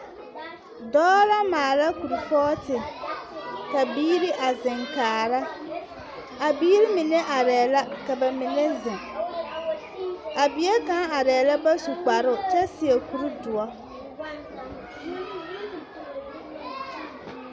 Dɔɔ la maala kuripooti. Ka biiri a zeŋ kaara. A biiri mine arɛɛ la, ka ba mine zeŋ. A bie kaŋ arɛɛ la ba su kparoŋ kyɛ seɛ kuridoɔ.